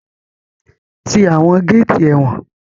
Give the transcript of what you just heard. Ti àwọn géétì ẹ̀wọ̀n!